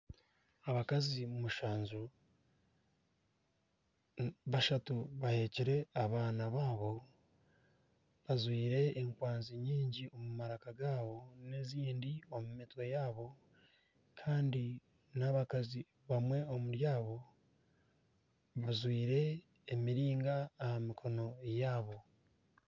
Abakazi mushanju, bashatu bahekyire abaana babo. Bajwire enkwanzi nyingi omu maraka gaabo n'ezindi omu mitwe yaabo Kandi n'abakazi bamwe omuri bo bajwire emiringa aha mikono yaabo.